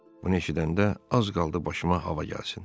Bunu eşidəndə az qaldı başıma hava gəlsin.